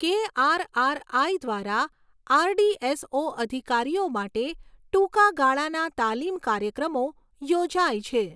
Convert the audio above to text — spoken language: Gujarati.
કેઆરઆરઆઈ દ્વારા આરડીએસઓ અધિકારીઓ માટે ટૂંકા ગાળાના તાલીમ કાર્યક્રમો યોજાય છે